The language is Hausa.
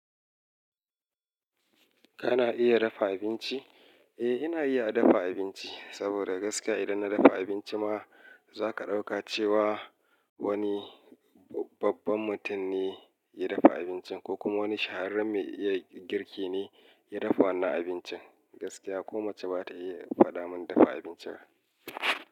Kana iya dafa abinci? Eh ina iya dafa abinci saboda gaskiya idan na dafa abinci ma zaka dauka cewa babban mutum ne ya dafa abincin ko kuma wani shahararren mai iya girki ne ya dafa wannan abincin. Gaskiya ko mace ba ta iya fada mun dafa abincin ba.